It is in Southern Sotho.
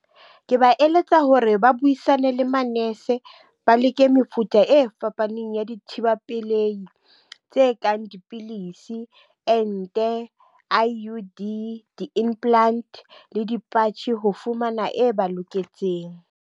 Ke ba eletsa hore ba buisane le manese, ba leke mefuta e fapaneng ya dithibela pelei tse kang dipilisi, ente I_U_D, di-implant le dipatjhe ho fumana e ba loketseng.